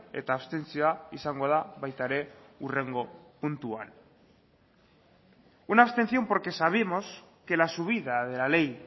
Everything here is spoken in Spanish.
eta abstentzioa izango da baita ere hurrengo puntuan una abstención porque sabemos que la subida de la ley